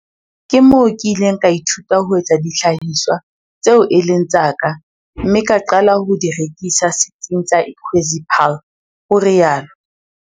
"Ke moo ke ileng ka ithuta ho etsa dihlahiswa tseo e leng tsa ka mme ka qala ho di rekisa Setsing sa Ikwezi Paarl," o rialo.